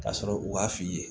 Ka sɔrɔ u b'a f'i ye